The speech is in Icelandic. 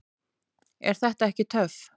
Er þetta ekki töff?